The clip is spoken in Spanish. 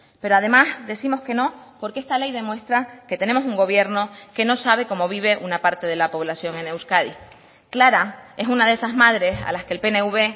pero además décimos que no porque esta ley demuestra que tenemos un gobierno que no sabe cómo vive una parte de la población en euskadi clara es una de esas madres a las que el pnv